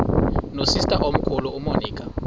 nosister omkhulu umonica